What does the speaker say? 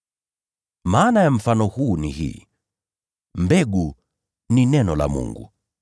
“Maana ya mfano huu ni hii: Mbegu ni neno la Mungu.